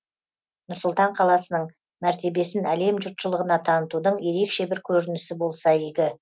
нұр сұлтан қаласының мәртебесін әлем жұртшылығына танытудың ерекше бір көрінісі болса игі